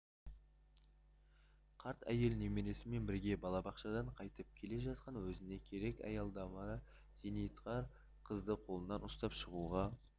қарт әйел немересімен бірге балабақшадан қайтып келе жатқан өзіне керек аялдамада зейнеткер қызды қолынан ұстап шығуға